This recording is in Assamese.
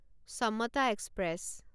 সমতা এক্সপ্ৰেছ